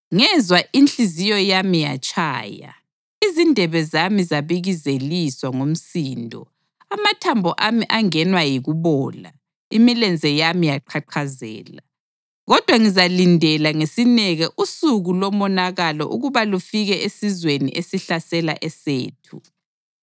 Ngezwa, inhliziyo yami yatshaya, izindebe zami zabikizeliswa ngumsindo; amathambo ami angenwa yikubola, imilenze yami yaqhaqhazela. Kodwa ngizalindela ngesineke usuku lomonakalo ukuba lufike esizweni esihlasela esethu.